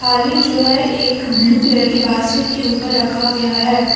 थाली जो हैं एक ब्लू कलर के बास्केट के ऊपर रखा गया हैं ।